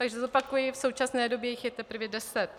Takže zopakuji, v současné době jich je teprve deset.